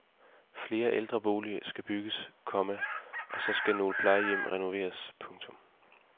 Flere ældreboliger skal bygges, komma og så skal nogle plejehjem renoveres. punktum